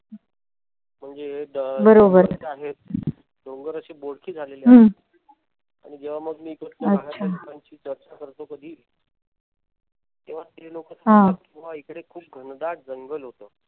म्हणजे आहेत. डोंगर आशी बोडकी झालेली आहेत. आणि जेंव्हा मग मी इकडच्या भागातील लोकांशी चर्चा करतो कधी तेव्हा ते लोक सांगतात कि इकडे खूप घनदाट जंगल होत.